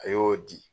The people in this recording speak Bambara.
A y'o di